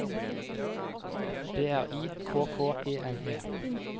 B R I K K E N E